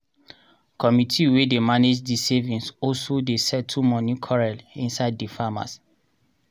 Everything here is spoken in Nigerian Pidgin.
committee wey dey mange di savings also dey settle moni quarrel inside di farmers.